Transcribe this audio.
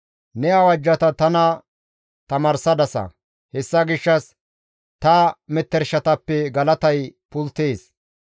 Ne awajjata tana tamaarsadasa; hessa gishshas ta metershatappe galatay pulttees.